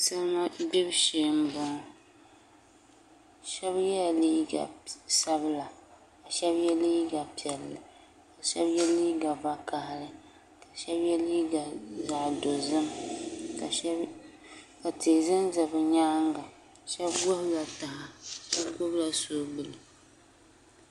Salima gbibu shee n boŋo shab yɛla liiga sabila ka shab yɛ liiga piɛla ka shab yɛ liiga vakaɣali ka shab yɛ liiga zaɣ dozim ka tihi ʒɛnʒɛ bi nyaanga shab gbubila taha shab gbubila soobuli